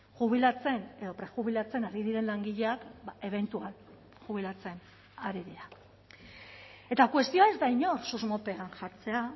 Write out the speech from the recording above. jubilatzen edo prejubilatzen ari diren langileak ebentual jubilatzen ari dira eta kuestioa ez da inor susmopean jartzea